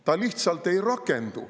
See lihtsalt ei rakendu.